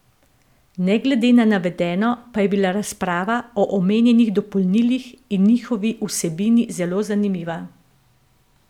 Ne glede na navedeno pa je bila razprava o omenjenih dopolnilih in njihovi vsebini zelo zanimiva.